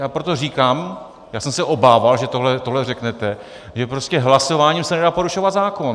Já proto říkám, já jsem se obával, že tohle řeknete, že prostě hlasováním se nedá porušovat zákon.